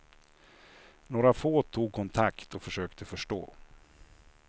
Några få tog kontakt och försökte förstå.